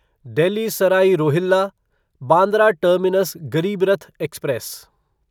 Delhi Sarai Rohilla Bandra terminus Garib Rath express